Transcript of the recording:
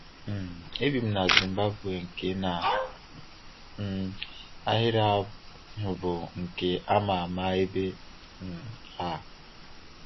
um E bi m na Zimbabwe nke na um ahịrị ahụ bụ nke a ma ama ebe um a!